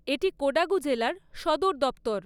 এটি কোডাগু জেলার সদর দপ্তর।